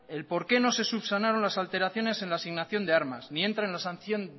el por qué no se subsanaron las alteraciones en la asignación de armas ni entran en la sanción